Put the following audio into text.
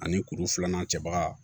Ani kuru filanan cɛbaga